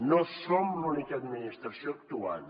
no som l’única administració actuant